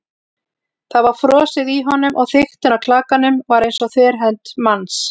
Það var frosið í honum- og þykktin á klakanum var eins og þverhönd manns.